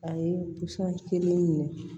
A ye pɔsɔn kelen ɲini